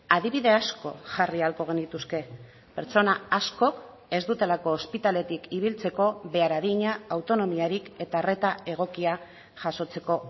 adibide asko jarri ahalko genituzke pertsona askok ez dutelako ospitaletik ibiltzeko behar adina autonomiarik eta arreta egokia jasotzeko